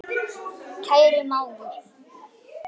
Kæri mágur.